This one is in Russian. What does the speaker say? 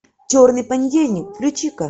черный понедельник включи ка